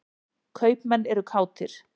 Kaupmenn eru kátir.